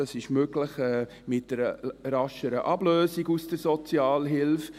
Das ist möglich mit einer rascheren Ablösung aus der Sozialhilfe.